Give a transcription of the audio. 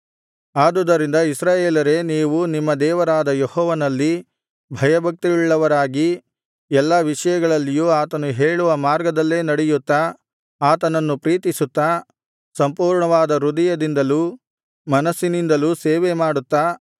ಆದುದರಿಂದ ಇಸ್ರಾಯೇಲರೇ ನೀವು ನಿಮ್ಮ ದೇವರಾದ ಯೆಹೋವನಲ್ಲಿ ಭಯಭಕ್ತಿಯುಳ್ಳವರಾಗಿ ಎಲ್ಲಾ ವಿಷಯಗಳಲ್ಲಿಯೂ ಆತನು ಹೇಳುವ ಮಾರ್ಗದಲ್ಲೇ ನಡೆಯುತ್ತಾ ಆತನನ್ನು ಪ್ರೀತಿಸುತ್ತಾ ಸಂಪೂರ್ಣವಾದ ಹೃದಯದಿಂದಲೂ ಮನಸ್ಸಿನಿಂದಲೂ ಸೇವೆ ಮಾಡುತ್ತಾ